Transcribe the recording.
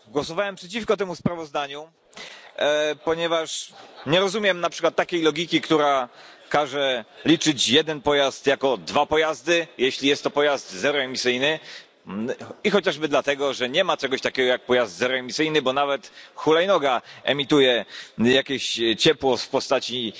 Panie Przewodniczący! Głosowałem przeciwko temu sprawozdaniu, ponieważ nie rozumiem logiki, która każe liczyć jeden pojazd jako dwa pojazdy, jeśli jest to pojazd zeroemisyjny, chociażby dlatego, że nie ma czegoś takiego jak pojazd zeroemisyjny, bo nawet hulajnoga emituje jakieś ciepło w postaci